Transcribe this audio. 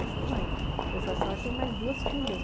Eu falei, mãe, eu falei, a senhora tem mais duas filhas